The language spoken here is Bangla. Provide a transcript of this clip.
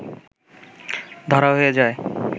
ধরা হয়ে যায়